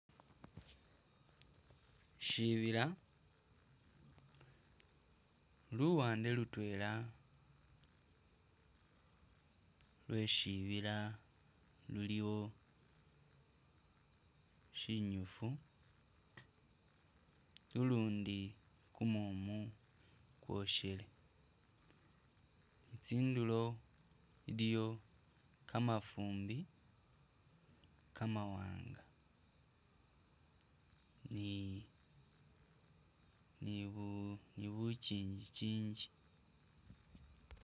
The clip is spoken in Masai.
Syibila, luwande lutwela lwe syibila luliwo syinyifu, lulundi kumumu kwosyelewo, tsindulo iliwo kamafumbi kamawanga ni nibu nibu kingi kingi